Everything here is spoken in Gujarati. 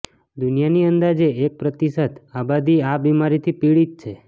દુનિયાની અંદાજે એક પ્રતિશત આબાદી આ બીમારીથી પીડિત છે